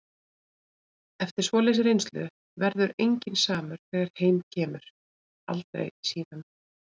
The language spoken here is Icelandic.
Eftir svoleiðis reynslu verður enginn samur þegar heim kemur- aldrei síðan.